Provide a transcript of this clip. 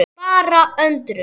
Bara undrun.